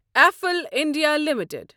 افل India limited